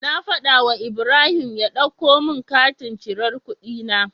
Na fada wu Ibrahim ya ɗauko mun katin cirar kuɗi na